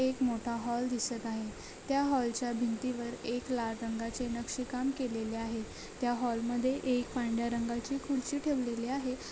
एक मोठा हॉल दिसत आहे त्या हॉलच्या भिंतीवर एक लाल रंगाचे नक्षीकाम केलेले आहे त्या हॉलमध्ये एक पांढऱ्या रंगाची खुर्ची ठेवलेली आहे